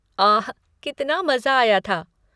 आह! कितना मज़ा आया था।